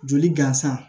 Joli gansan